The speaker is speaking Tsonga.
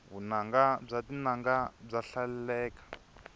vunanga bya tinanga bya hlaleleka